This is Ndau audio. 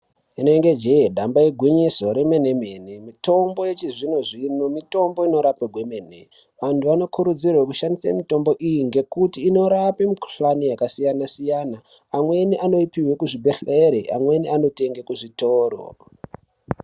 Inenge jee ,damba igwinyiso remene mene. Mitombo yechizvino xvino mitombo inorape gwemene .Vantu vanokurudzirwa kushandisa mitombo iyi ngekuti inorape mikuhlani yakasiyana siyana .Amweni anoipiwe kuzvibhehlere amweni anoipiwe kuzvitori.